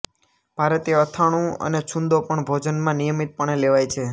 ભારતીય અથાણું અને છુંદો પણ ભોજનમાં નિયમિતપણે લેવાય છે